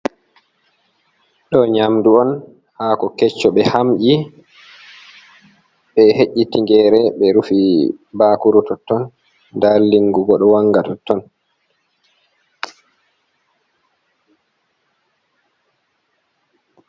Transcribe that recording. Ɗo nyamdu on. Hako kecco, ɓe hamƴi, ɓe he'i tingere, ɓe rufi bakuru totton. Nda lingu bo ɗo wanga totton.